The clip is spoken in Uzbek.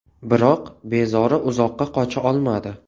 Biroq bezori uzoqqa qocha olmadi.